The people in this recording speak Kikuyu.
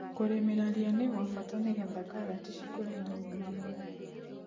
Kũrĩmĩra ria nĩgwabata nĩgetha karati cikũre na ũgima mwega.